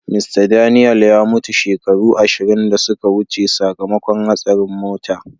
Mista Daniel ya mutu shekaru ashirin da suka wuce sakamakon hastarin mota.